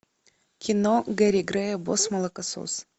кино герри грея босс молокосос